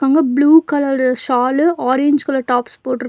இங்க blue colour shawl orange colour tops போட்டுருக்--